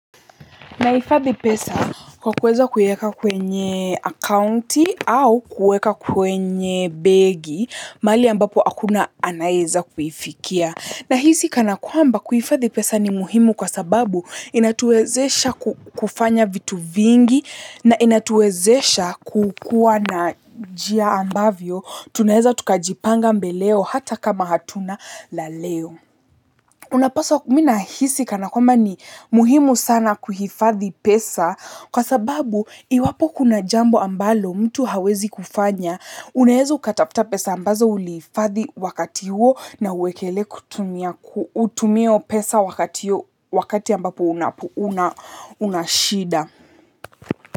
Nahifadhi pesa kwa kuweza kuweka kwenye akaunti au kuweka kwenye begi, mahali ambapo hakuna anayeweza kuifikia. Nahisi kana kwamba kuhifadhi pesa ni muhimu kwa sababu inatuwezesha kufanya vitu vingi na inatuwezesha kukua na njia ambavyo. Tunaeza tukajipanga mbeleo hata kama hatuna la leo. Unapaswa mi nahisi kana kwamba ni muhimu sana kuhifadhi pesa kwa sababu iwapo kuna jambo ambalo mtu hawezi kufanya. Unaweza ukatafuta pesa ambazo ulihiifadhi wakati huo na uwekelee kutumia pesa wakati ambapo una shida.